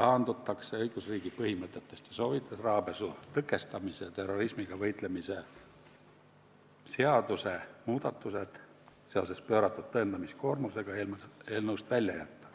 taandutakse õigusriigi põhimõtetest ning soovitas rahapesu ja terrorismi rahastamise tõkestamise seaduse muudatused seoses pööratud tõendamiskoormusega eelnõust välja jätta.